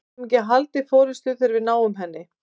Við getum ekki haldið forystu þegar við náum henni.